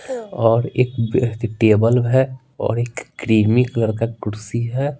और एक टेबल है और एक क्रीमी कलर का कुर्सी है।